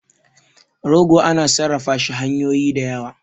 rogo ana sarrafa shi hanyoyin da yawa